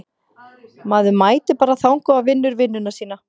Maður mætir bara þangað og vinnur vinnuna sína.